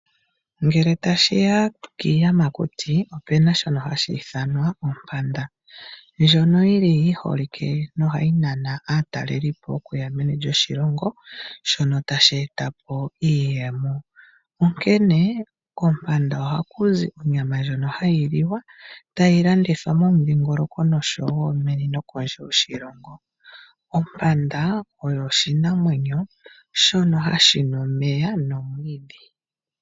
Ngele tashi ya kiiyamakuti opu na shono hashi ithanwa ompanda. Ndjono yi holike nohayi nana aatalelipo okuya meni lyoshilongo, shono tashi eta po iiyemo, onkene kompanda ohaku zi onyama ndjono hayi liwa, tayi landithwa momudhingoloko noshowo meni nokondje yoshilongo. Ompanda oyo oshinamwenyo shono hashi nu omeya nokulya omwiidhi.